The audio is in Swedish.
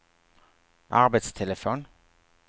arbetstelefon